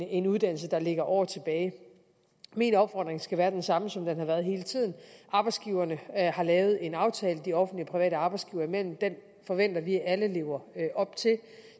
en uddannelse der ligger år tilbage min opfordring skal være den samme som den har været hele tiden arbejdsgiverne har lavet en aftale de offentlige og private arbejdsgivere imellem og den forventer vi at alle lever op til